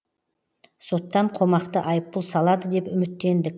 соттан қомақты айыппұл салады деп үміттендік